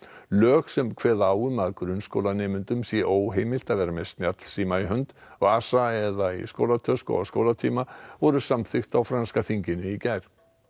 lög sem kveða á um að grunnskólanemendum sé óheimilt að vera með snjallsíma í hönd vasa eða skólatösku á skólatíma voru samþykkt á franska þinginu í gær